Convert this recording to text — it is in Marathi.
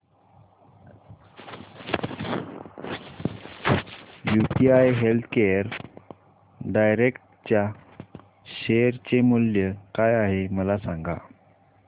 यूटीआय हेल्थकेअर डायरेक्ट च्या शेअर चे मूल्य काय आहे मला सांगा